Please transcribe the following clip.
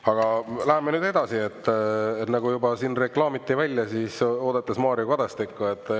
Aga läheme nüüd edasi, nagu juba siin reklaamiti välja: oodates Mario Kadastikku.